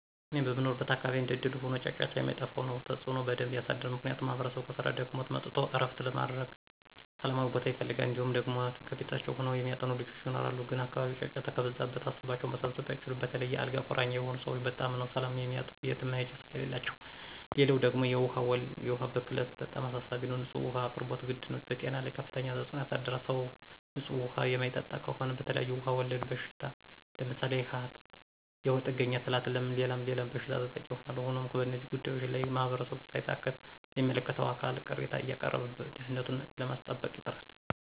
እኔ በምኖርበት አካባቢ እንደእድል ሆኖ ጫጫታ የማይጠፍው ቦታ ነው። ተፅዕኖ በደንብ የሳድራል። ምክንያቱም ማህበረሰቡ ከስራ ደክሞት መጥቶ ዕረፍት ለማድረግ ሠላማዊ ቦታ ይፈልጋል። እንዲሁም ደግሞ ከቤታቸው ሆነው የሚያጠኑ ልጆች ይኖራሉ ግን አካባቢው ጫጫታ ከበዛበት ሀሳባቸውን መሰብሰብ አይችሉም. በተለይ የ አልጋ ቁራኛ የሆኑ ሰወች በጣም ነው ሰላም የሚያጡ የትም መሄጃ ስለሌላቸው። ሌላው ደግሞ የውሀ ብክለት በጣም አሳሳቢ ነው። ንፁህ ውሀ አቅርቦት ግድ ነው። በጤና ላይ ከፍተኛ ተፅዕኖ ያሳድራል .ሰው ንፁህ ውሀ የማይጠጣ ከሆነ በተለያዬ ውሀ ወለድ በሽታ ለምሳሌ፦ ሀተት፣ የሆድ ጥገኛ ትላትል ሌላም ሌላም በሽታ ተጠቂ ይሆናሉ። ሆኖም በእነዚህ ጉዳዮች ላይ ማህበረሰቡ ሳይታክት ለሚመለከተው አካል ቅሬታ አያቀረበ ደህንነቱኑ ለማስጠበቅ ይጥራል።